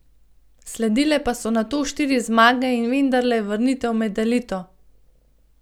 Sledile pa so nato štiri zmage in vendarle vrnitev med elito.